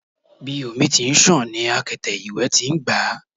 Bi omi ti n ṣàn ni akete iwẹ ti n gba o